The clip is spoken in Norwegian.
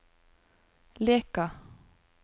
Leka